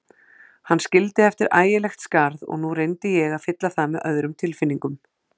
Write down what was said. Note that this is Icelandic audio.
Hann skildi eftir ægilegt skarð og nú reyndi ég að fylla það með öðrum tilfinningum.